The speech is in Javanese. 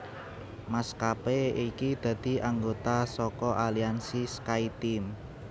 Maskapé iki dadi anggota saka aliansi SkyTeam